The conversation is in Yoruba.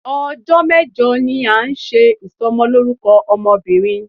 Ọjọ́ mẹ́jọ ni a ń ṣe Ìsọmọlórúkọ ọmọ bìnrin.